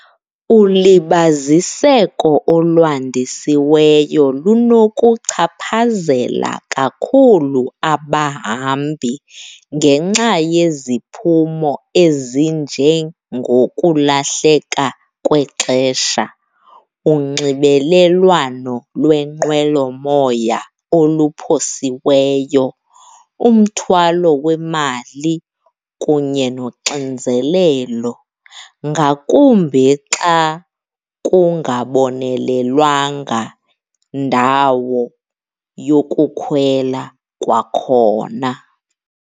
Ulibaziseko olwandisiweyo lunokuchaphazela kakhulu abahambi ngenxa yeziphumo ezinjengokulahleka kwexesha, unxibelelwano lwenqwelomoya oluphosiweyo, umthwalo wemali kunye noxinzelelo, ngakumbi xa kungabonelelwanga ndawo yokukhwela kwakhona.